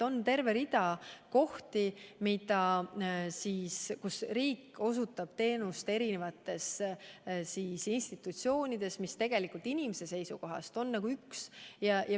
On terve rida kohti, kus riik osutab teenust eri institutsioonides, mis inimeste seisukohast on nagu üks.